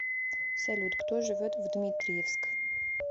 салют кто живет в дмитриевск